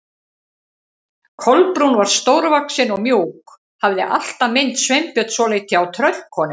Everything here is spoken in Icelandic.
Kolbrún var stórvaxin og mjúk, hafði alltaf minnt Sveinbjörn svolítið á tröllkonu.